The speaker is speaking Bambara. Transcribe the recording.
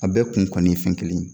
A bɛɛ kun kɔni ye fɛn kelen ye.